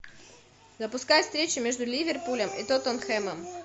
запускай встречу между ливерпулем и тоттенхэмом